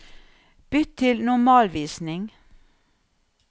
Bytt til normalvisning